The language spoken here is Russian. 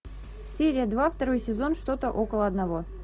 серия два второй сезон что то около одного